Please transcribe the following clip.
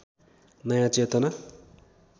नयाँ चेतना